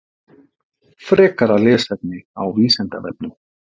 Frekara lesefni á Vísindavefnum